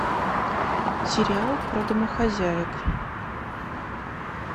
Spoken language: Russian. сериал про домохозяек